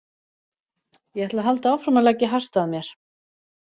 Ég ætla að halda áfram að leggja hart að mér.